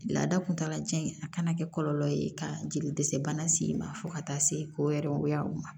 Laada kuntagala jan in a kana kɛ kɔlɔlɔ ye ka jeli dɛsɛ bana sen ma fo ka taa se ko yɛrɛ ma